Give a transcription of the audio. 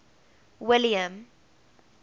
william